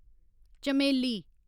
चमेली